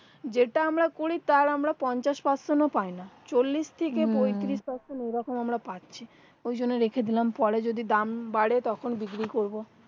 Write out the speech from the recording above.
যেটা আমরা করি তার পঞ্চাশ person ও পায় না চল্লিশ থেকে পঁয়ত্রিশ person এই রকম আমরা পাচ্ছি ওই জন্য রেখে দিলাম পরে যদি দাম বাড়ে তখন বিক্রি করবো